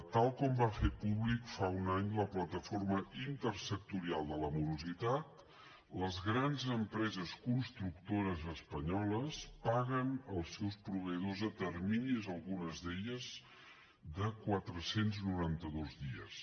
tal com va fer públic fa un any la plataforma multisectorial contra la morositat les grans empreses constructores espanyoles paguen els seus proveïdors a terminis algunes d’elles de quatre cents i noranta dos dies